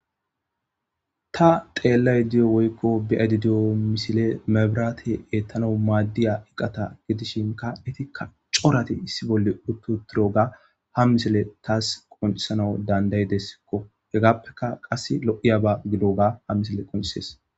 Ta xelayda diyo woyko beyayda diyo misile maburate etanaw madiya gata gidishinka izika cora issi bolla uti utidoga ha misile qoncisanas danda'idaysako hegapeka qase lo'iyaba gidiyoba qoncisses